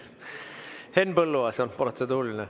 Henn Põlluaasalt protseduuriline.